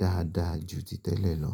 dáadáa ju ti tẹ́lẹ̀ lọ.